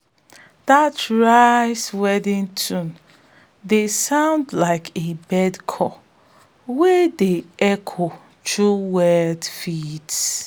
dat rice-weeding tune dey sound like a bird call wey dey echo through wet fields